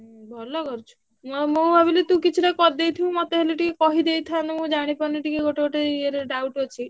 ଭଲ କରିଛୁ ମୁଁ ଆଉ ଭାବିଲି ତୁ କିଛି ଟା କରିଦେଇଥିବୁ ମତେ ହେଲେ କହିଦେଇଥାନ୍ତୁ ମୁଁ ଜାଣିପାରୁନି ଟିକେ ଗୋଟେ ଗୋଟେ ୟେରେ doubt ଅଛି।